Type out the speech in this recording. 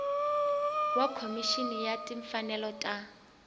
wa khomixini ya timfanelo ta